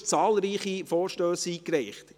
Sie haben zahlreiche Vorstösse eingereicht.